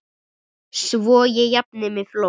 Svo ég jafni mig fljótt.